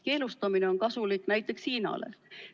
Keelustamine on kasulik näiteks Hiinale.